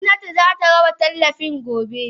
Gomnati zata raba tallafin daga gobe.